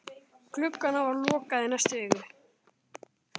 Glugganum verður lokað í næstu viku.